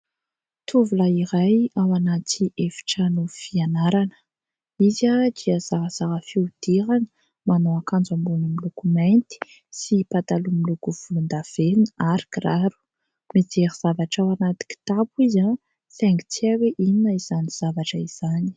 Tovolahy iray ao anaty efitrano fianarana. Izy dia zarazara fihodirana, manao akanjo ambony miloko mainty sy pataloha miloko volondavenona ary kiraro. Mijery zavatra ao anaty kitapo izy saingy tsy hay hoe inona izany zavatra izany.